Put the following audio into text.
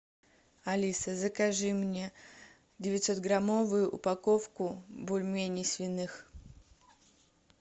алиса закажи мне девятьсот граммовую упаковку бульменей свиных